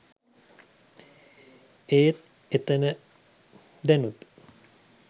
ඒත් ඒතන දැනුත්